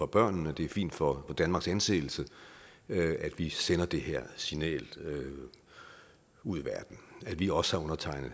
børnene og det er fint for danmarks anseelse at vi sender det her signal ud i verden at vi også har undertegnet